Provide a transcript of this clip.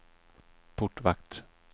portvakt